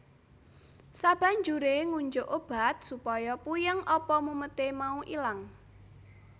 Sabanjure ngunjuk obat supaya puyeng apa mumete mau ilang